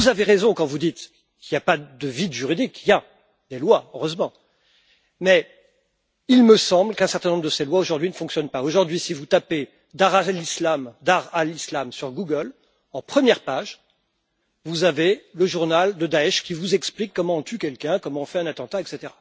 C'est vrai, vous avez raison quand vous dites qu'il n'y a pas de vide juridique, il y a des lois, heureusement, mais il me semble qu'un certain nombre de ces lois, aujourd'hui, ne fonctionnent pas. Aujourd'hui, si vous tapez Dar al Islam sur Google, en première page, vous avez le journal de Daech qui vous explique comment on tue quelqu'un, comment on fait un attentat, etc.